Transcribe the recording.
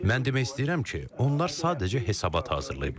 Mən demək istəyirəm ki, onlar sadəcə hesabat hazırlayıblar.